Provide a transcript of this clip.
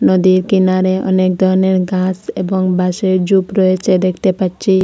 নদীর কিনারে অনেক ধরনের গাছ এবং বাঁশের ঝুপ রয়েছে দেখতে পাচ্ছি।